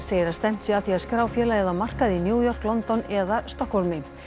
segir að stefnt sé að því að skrá félagið á markað í New York London eða Stokkhólmi